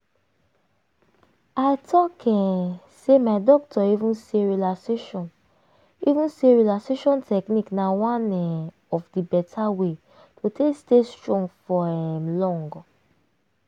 i talk um say my doctor even say relaxation even say relaxation technique na one um of the beta way to take stay strong for um long.